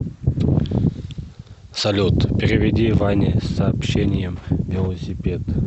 салют переведи ване с сообщением велосипед